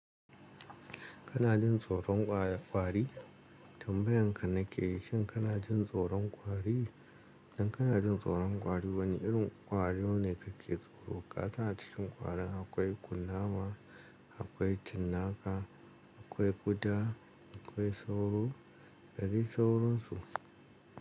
Kana jin tsoron ƙwari? Tambayan ka nake yi, shin kana jin tsoron ƙwari? Idan kana jin tsoron ƙwari, wane irin ƙwari ne kake tsoro? Kasan a cikin ƙwarin akwai kunnama, akwai cinnaka, akwai ƙuda, akwai sauro. Da dai sauransu.